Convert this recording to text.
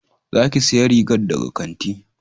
Za ki saya riga daga kanti